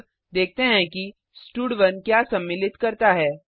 अब देखते हैं कि स्टड1 क्या सम्मिलित करता है